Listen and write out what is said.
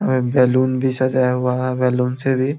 यहां पे बैलून भी सजाया हुआ है बैलून से भी ।